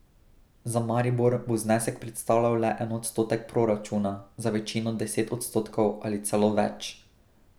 Za Maribor bo znesek predstavljal le en odstotek proračuna, za večino deset odstotkov ali celo več.